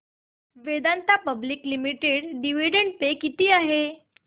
Vedanta public limited dividend pay किती आहे